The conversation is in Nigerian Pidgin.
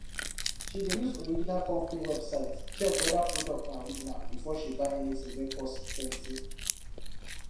she dey use original company website check whether product na original before she buy anything wey cost plenty